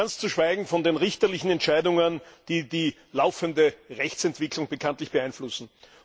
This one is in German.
Ganz zu schweigen von den richterlichen Entscheidungen, die die laufende Rechtsentwicklung bekanntlich beeinflussen.